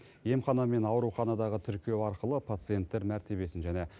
емхана мен ауруханадағы тіркеу арқылы пациенттер мәртебесін және